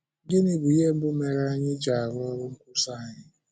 Gịnị bụ ihe mbụ mere anyị ji arụ́ ọ́rụ nkwúsa anyị?